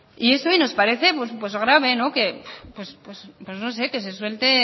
y eso nos parece grave que se suelte